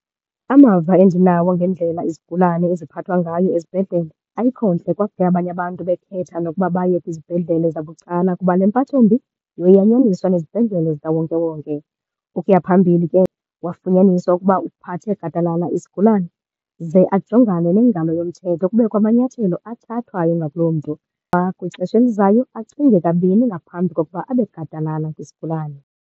Amava endinawo ngendlela izigulane eziphathwa ngayo ezibhedlele ayikho ntle . Abanye abantu bekhetha nokuba baye kwizibhedlele zabucala kuba le mpathombi yanyaniswa nezibhedlele zikawonkewonke. Ukuya phambili ke, wafunyaniswa ukuba uphathe gadalala isigulane ze ajongane nengalo yomthetho kubekho amanyathelo athathwayo ngakuloo mntu. kwixesha elizayo acinge kabini ngaphambi kokuba abe gadalala kwisigulane.